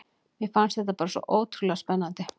Mér fannst þetta bara svo ótrúlega spennandi.